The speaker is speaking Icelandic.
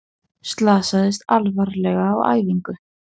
Slasaðist alvarlega á æfingu